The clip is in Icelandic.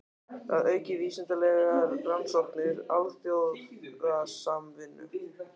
Að auka vísindalegar rannsóknir og alþjóðasamvinnu.